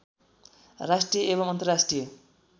राष्ट्रिय एवम् अन्तरराष्ट्रिय